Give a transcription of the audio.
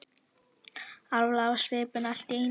Alvarleg á svipinn allt í einu.